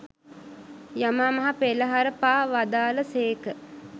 යමා මහ පෙළහර පා වදාළ සේක.